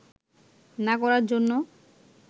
না করার জন্য